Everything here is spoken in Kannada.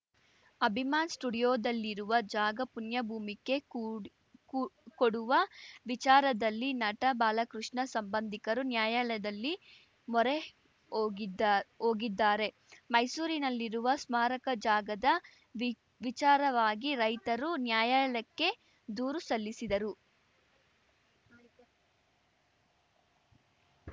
ಅಭಿಮಾನ್‌ ಸ್ಟುಡಿಯೋದಲ್ಲಿರುವ ಜಾಗ ಪುಣ್ಯಭೂಮಿಗೆ ಕೂಡ್ ಕೂ ಕೊಡುವ ವಿಚಾರದಲ್ಲಿ ನಟ ಬಾಲಕೃಷ್ಣ ಸಂಬಂಧಿಕರು ನ್ಯಾಯಾಲಯದಲ್ಲಿ ಮೊರೆ ಹೋಗಿದ್ದಾ ಹೋಗಿದ್ದಾರೆ ಮೈಸೂರಿನಲ್ಲಿರುವ ಸ್ಮಾರಕ ಜಾಗದ ವಿ ವಿಚಾರವಾಗಿ ರೈತರು ನ್ಯಾಯಾಲಯಕ್ಕೆ ದೂರು ಸಲ್ಲಿಸಿದರು